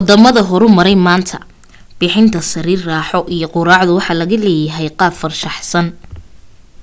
waddama horumaray maanta bixinta sariir raaxo iyo quraacdu waxaa laga yeelay qaab-farshaxan